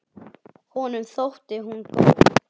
Honum þótti hún góð.